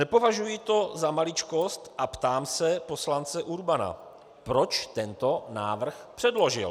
Nepovažuji to za maličkost a ptám se poslance Urbana, proč tento návrh předložil.